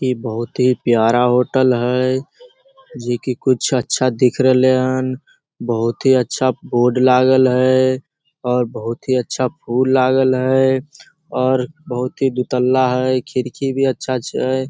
इ बहुत ही प्यारा होटल हेय जे की कुछ अच्छा देख रहल हन बहुत ही अच्छा बोर्ड लागल हेय और बहुत ही अच्छा फुल लागल हेय और बहुत ही दू तल्ला हेय खिड़की भी अच्छा छै ।